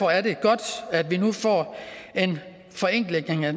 er det godt at vi nu får en forenkling af